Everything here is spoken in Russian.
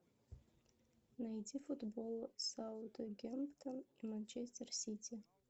найти футбол саутгемптон и манчестер сити